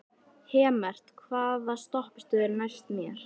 Hemmert, hvaða stoppistöð er næst mér?